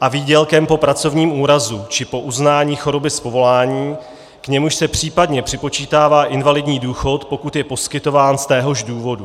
a výdělkem po pracovním úrazu či po uznání choroby z povolání, k němuž se případně připočítává invalidní důchod, pokud je poskytován z téhož důvodu.